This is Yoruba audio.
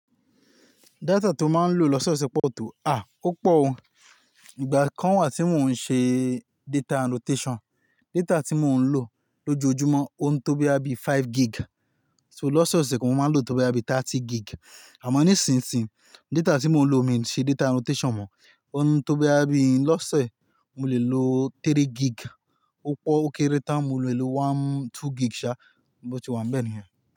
Data tí ó máa ń lò lọ́sẹ̀ṣẹ̀ pọ́ọ̀to, à, ó pọ̀ o. Ìgbà kan wà tí mò ń ṣe data annotation, data tí mò ń lò lójoojúmọ́ ó ń tó bí i five gig, so lọ́sẹ̀ ọ̀sẹ̀ kan mò máa ń lò tó bí i thirty gig. Àmọ́ nísinsìnyí, data tí mò ń lò mi ń ṣe data annotation mọ, ó ń tó bí i lọ́sẹ̀, mo lè lo three gig, ó pọ̀ ó kéré tán, mo lè lo one, two gig ṣá, bó ti wà, ń bẹ ni.